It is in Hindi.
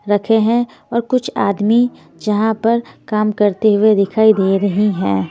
रखे हैंऔर कुछ आदमी जहाँ पर काम करते हुए दिखाई दे रही हैं।